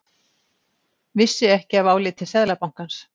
Vissi ekki af áliti Seðlabankans